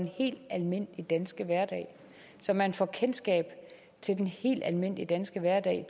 helt almindelige danske hverdag og så man får kendskab til den helt almindelige danske hverdag